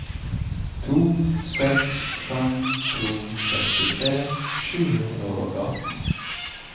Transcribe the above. to seks fem to sekstitre sju hundre og atten